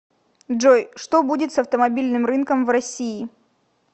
джой что будет с автомобильным рынком в россии